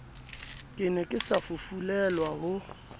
ke ne ke safufulelwa ho